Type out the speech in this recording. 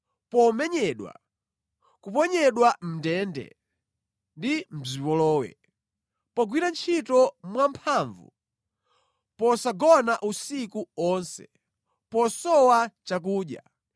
Pomenyedwa, kuponyedwa mʼndende ndi mʼzipolowe. Pogwira ntchito mwamphamvu, posagona usiku onse, posowa chakudya;